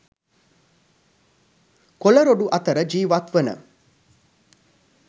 කොළ රොඩු අතර ජීවත් වන